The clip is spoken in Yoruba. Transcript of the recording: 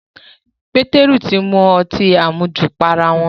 Pétérù ti mu ọtí àmujù pa ará wọn